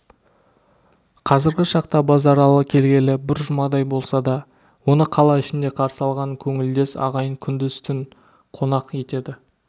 қазіргі шақта базаралы келгелі бір жұмадай болса да оны қала ішінде қарсы алған көңілдес ағайын күндіз-түн қонақ етеді